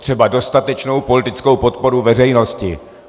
Třeba dostatečnou politickou podporu veřejnosti.